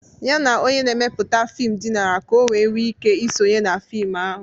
Ya na onye na-emepụta fim dinara ka o wee nwee ike isonye na fim ahụ.